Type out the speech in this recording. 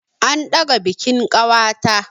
An ɗaga bikin ƙawata.